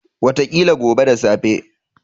Wataƙila gobe da safe.